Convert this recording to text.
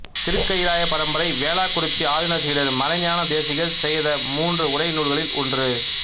திருக்கயிலாய பரம்பரை வேளாக்குறிச்சி ஆதீன சீடர் மறைஞான தேசிகர் செய்த மூன்று உரை நூல்களில் ஒன்று